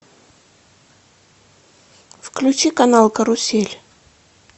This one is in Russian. включи канал карусель